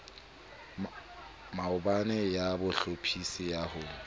mabone ya bohlophisi ya ho